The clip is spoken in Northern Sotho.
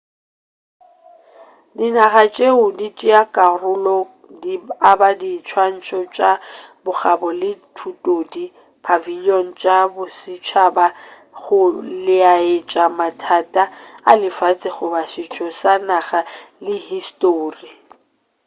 dinaga tšeo di tšeago karolo di aba diswantšho tša bokgabo le thutodi pavilion tša bosetšhaba go laetša mathata a lefase goba setšo sa naga le histori